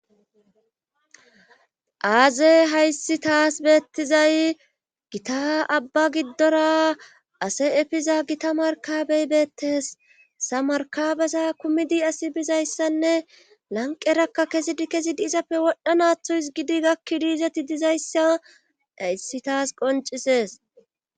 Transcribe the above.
aaze hayssi taas beettizay gita abba giddora ase efiza gita markabey beettes hesa markabeza kumidi asi bizayssanne lanqerakka kesidi kesidi izappe wodhanatho hizgidi gakkidiizati dizayssa hayssi taas qoncisees